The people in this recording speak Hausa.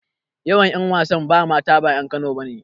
Most of the female actors are not indigenes of Kano.